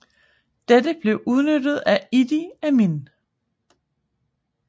Dette blev udnyttet af Idi Amin